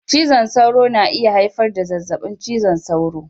Cizon sauro na iya haifar da zazzabin cizon sauro.